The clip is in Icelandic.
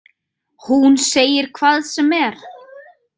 Hún segir hvað sem er.